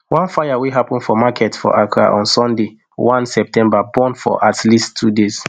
one fire wey happun for market for accra on sunday one september burn for at least two days